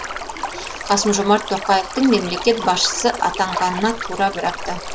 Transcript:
қасым жомарт тоқаевтың мемлекет басшысы атанғанына тура бір апта